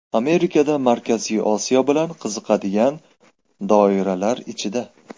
Amerikada Markaziy Osiyo bilan qiziqadigan doiralar ichida.